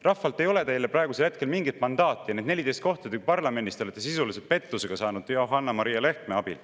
Rahvalt ei ole teile praegusel hetkel mingit mandaati ja need 14 kohta parlamendis te olete sisuliselt pettusega saanud, Johanna-Maria Lehtme abil.